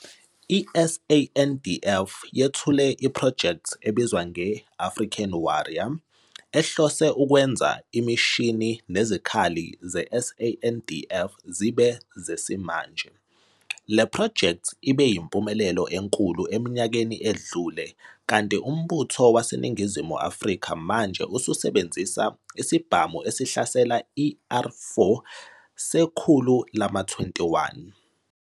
I-SANDF yethule iphrojekthi ebizwa nge "African Warrior" ehlose ukwenza imishini nezikhali ze-SANDF zibe zesimanje. Le phrojekthi ibe yimpumelelo enkulu eminyakeni edlule kanti uMbutho waseNingizimu Afrika manje ususebenzise isibhamu esihlasela iR4 sekhulu lama-21.